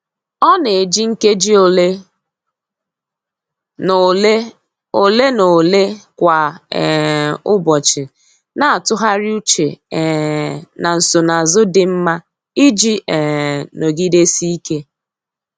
Ọ na-eji nkeji ole na ole ole na ole kwa um ụbọchị na-atụgharị uche um na nsonazụ dị mma iji um nọgidesike.